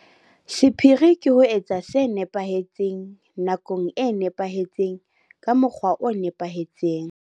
Sephiri ke ho etsa se nepahetseng, nakong e nepahetseng, ka mokgwa o nepahetseng.